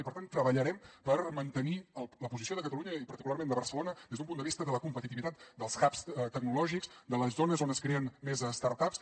i per tant treballarem per mantenir la posició de catalunya i particularment de barcelona des d’un punt de vista de la competitivitat dels hubs tecnològics de les zones on es creen més startups